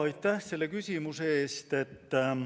Aitäh selle küsimuse eest!